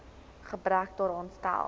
gebrek daaraan stel